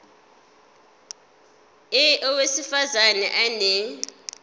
a owesifaz ane